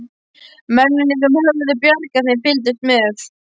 Mennirnir sem höfðu bjargað þeim fylgdust með.